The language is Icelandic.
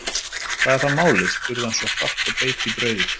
Hvað er þá málið, spurði hann svo hratt og beit í brauðið.